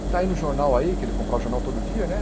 Está aí no jornal aí, que ele comprava o jornal todo dia, né?